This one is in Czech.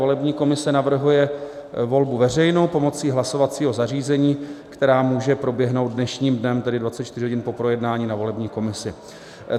Volební komise navrhuje volbu veřejnou pomocí hlasovacího zařízení, která může proběhnout dnešním dnem, tedy 24 hodin po projednání na volební komisi.